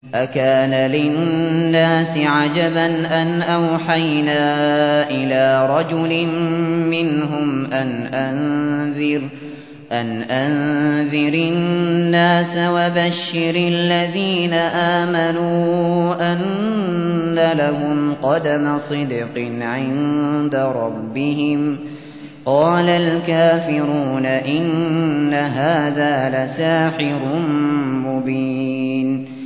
أَكَانَ لِلنَّاسِ عَجَبًا أَنْ أَوْحَيْنَا إِلَىٰ رَجُلٍ مِّنْهُمْ أَنْ أَنذِرِ النَّاسَ وَبَشِّرِ الَّذِينَ آمَنُوا أَنَّ لَهُمْ قَدَمَ صِدْقٍ عِندَ رَبِّهِمْ ۗ قَالَ الْكَافِرُونَ إِنَّ هَٰذَا لَسَاحِرٌ مُّبِينٌ